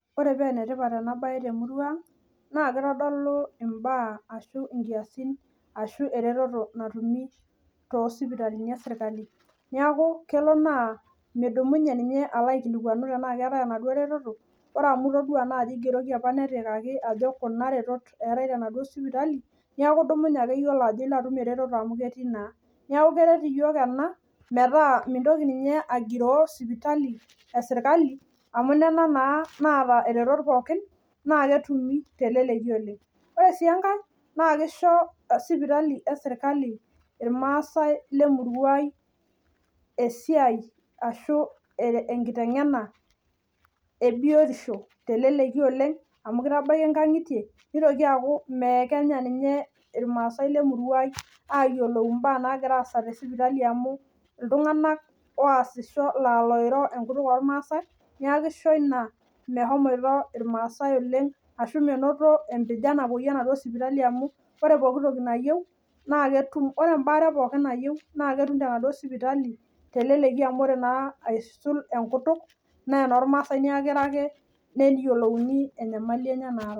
ore paa enetipat enabaye temurua naa kitodolu ibaa ashu inkiyasin ashu eretoto natumi too isippitali oo ilmasai , neeku idumunye ake keret iyiok ene metaa mintoki ninye agiro sipitali eserikali amu nena naa naata iretot pooki, naa keji pee etumi teleleki oleng' neeku kisho sipitali esirikali iltunganak lemurua ai esiai ashu enkiteng'ena , nitoki aaku meekenya ninye amu iltung'anak lemurua ai oiro enkutuk oo ilmaasai amu ore ebare nayieu naa kiro ake nelikini enyamali naata.